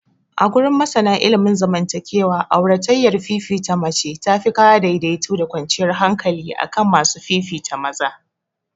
Agurin masana ilimin zaman takewa, auratayyar fifita mace tafi kawo daidaito da kwanciyar hankali akan masu fifita maza.